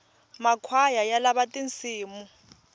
makhwaya ya lava tinsimu